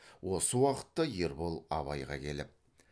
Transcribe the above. осы уақытта ербол абайға келіп